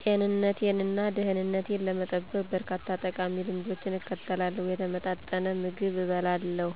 ጤንነቴን እና ደህንነቴን ለመጠበቅ፣ በርካታ ጠቃሚ ልማዶችን እከተላለሁ። የተመጣጠነ ምግብ እበላለሁ፣